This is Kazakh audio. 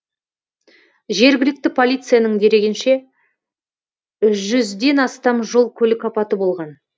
жергілікті полицияның дерегінше жүзден астам жол көлік апаты болған